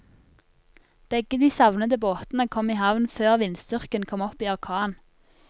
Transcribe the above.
Begge de savnede båtene kom i havn før vindstyrken kom opp i orkan.